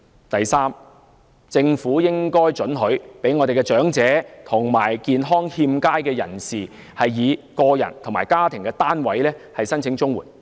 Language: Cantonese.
第三，政府應准許長者及健康欠佳的人士以個人或家庭單位申請綜援。